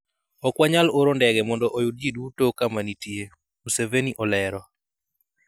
Ok wanyal oro ndege mondo oyud ji duto kama nitie," Museveni olero.